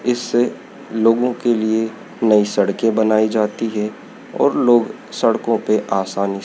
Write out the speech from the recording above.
इससे लोगों के लिए नई सड़कें बनाई जाती है और लोग सड़कों पे आसानी--